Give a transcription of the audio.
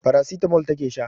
Paracetamol take sha